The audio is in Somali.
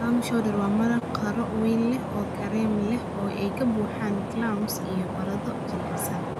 Clam Chowder waa maraq qaro weyn leh, oo kareem leh oo ay ka buuxaan clams iyo baradho jilicsan.